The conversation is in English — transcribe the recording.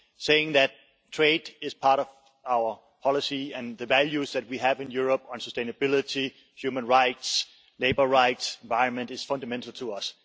Saying that trade is part of our policy and the values that we have in Europe on sustainability, human rights, labour rights and the environment are fundamental to us.